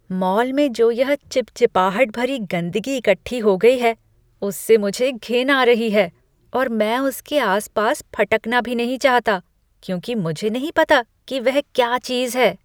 Mall में जो यह चिपचिपाहट भरी गंदगी इकट्ठी हो गई है उससे मुझे घिन आ रही है और मैं उसके आस पास फटकना भी नहीं चाहता क्योंकि मुझे नहीं पता कि वह क्या चीज है।